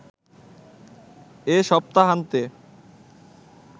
এ সপ্তাহান্তে